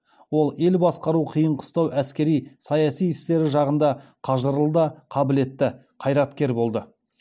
ол ел басқару қиын қыстау әскери саяси істері жағында қажырлы да қабілетті қайраткер болды